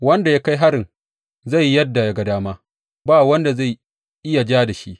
Wanda ya kai harin zai yi yadda ya ga dama, ba wanda zai iya ja da shi.